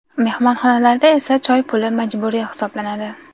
Mehmonxonalarda esa choy puli majburiy hisoblanadi.